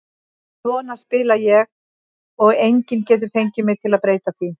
Svona spila ég og enginn getur fengið mig til að breyta því.